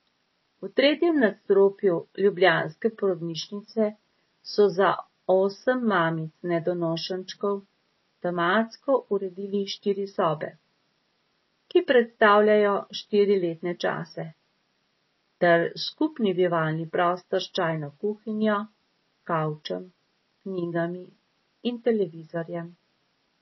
V tretjem nadstropju ljubljanske porodnišnice so za osem mamic nedonošenčkov tematsko uredili štiri sobe, ki predstavljajo štiri letne čase, ter skupni bivalni prostor s čajno kuhinjo, kavčem, knjigami in televizorjem.